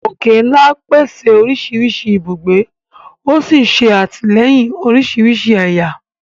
Òkè-ńlá pèsè oríṣiríṣi ibùgbé, ó sì ń ṣe àtìlẹ́yìn oríṣiríṣi ẹ̀yà